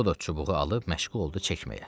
O da çubuğu alıb məşğul oldu çəkməyə.